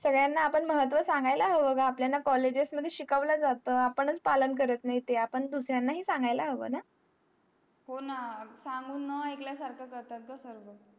सगळ्या ना आपण महत्व सांगायला हवा ग आपल्यान ना colleges मध्ये शिकवलं झहात आपणच पालन करत नाही ते दुसर्या ला हे सांगायला हवा ना हो ना सांगून ना आयकल्या सारखा करतात ग सगळं